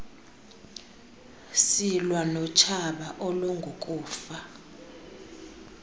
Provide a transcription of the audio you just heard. silwa notshaba olungukufa